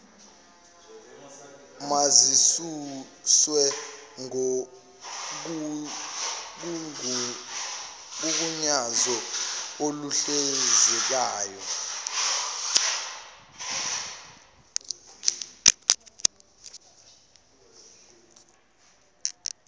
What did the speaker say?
mazisuswe kugunyazo oluhlinzekayo